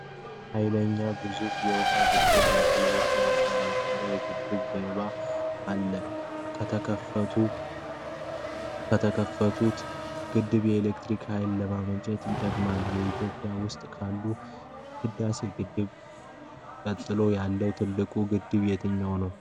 ኃይለኛና ግዙፍ የውኃ ግድብ ነው። ትልቅ የውኃ ማጠራቀሚያ ከግድቡ ጀርባ አለ። ከተከፈቱ በርካታ መውጫዎች ከፍተኛ ውኃ ይፈሳል። ግድቡ በደን የተከበበ ኮረብታማ ቦታ ነው። ግድቡ የኤሌክትሪክ ኃይል ለማመንጨት ይጠቅማል። በኢትዮጵያ ውስጥ ከታላቁ የሕዳሴ ግድብ ቀጥሎ ያለው ትልቁ ግድብ የትኛው ነው?